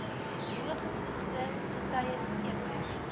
bevoegde getuies teken